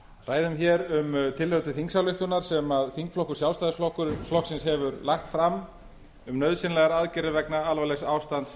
ræðum hér um tillögu til þingsályktunar sem þingflokkur sjálfstæðisflokksins hefur lagt fram um nauðsynlegar aðgerðir vegna alvarlegs ástands